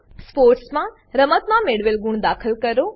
sports માં રમતમાં મેળવેલ ગુણ દાખલ કરો